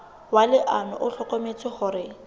wa leano o hlokometse hore